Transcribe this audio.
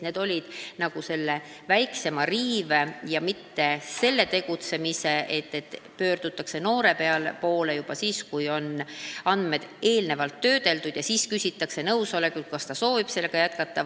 Need olid väiksemapoolse riive ja sellise tegutsemise vastu, et noore poole pöördutakse juba siis, kui andmeid on eelnevalt töödeldud, ja küsitakse siis nõusolekut, kas ta soovib sellega jätkata.